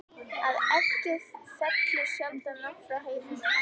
Að eggið fellur sjaldan langt frá hænunni!